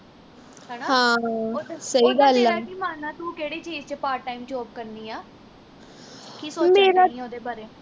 ਹਣਾ ਉਦਾਂ ਉਦਾਂ ਤੇਰਾ ਕੀ ਮਾਨਨਾ ਤੂੰ ਕਿਹੜੀ ਚੀਜ ਵਿਚ part time job ਕਰਨੀ ਆ ਕੀ ਸੋਚਣ ਉਹਦੇ ਬਾਰੇ